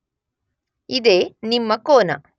ಇದೇ ನಿಮ್ನ ಕೋನ.